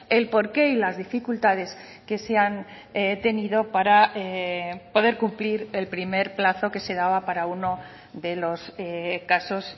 el porqué y las dificultades que se han tenido para poder cumplir el primer plazo que se daba para uno de los casos